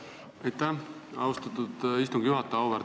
Aitäh, austatud istungi juhataja!